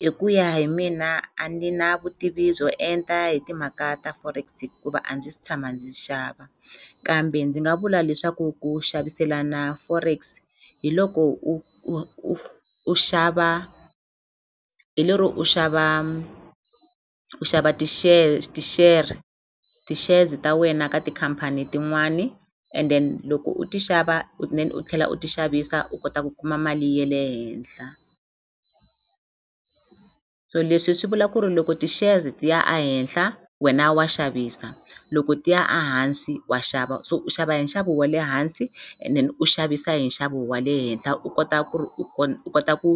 hi ku ya hi mina a ni na vutivi byo enta hi timhaka ta forex hikuva a ndzi se tshama ndzi xava kambe ndzi nga vula leswaku ku xaviselana forex hi loko u u u u xava hi lero u xava u xava ti-shares, ti-share ti-shares ta wena ka tikhampani tin'wani and then loko u ti xava then u tlhela u ti xavisa u kota ku kuma mali ya le henhla so leswi swi vula ku ri loko ti-shares ti ya a henhla wena wa xavisa loko ti ya a hansi wa xava so u xava hi nxavo wa le hansi and then u xavisa hi nxavo wa le henhla u kota ku ri u u kota ku